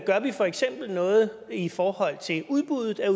gør vi for eksempel noget i forhold til udbuddet af